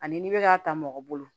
Ani n'i bɛ k'a ta mɔgɔ bolo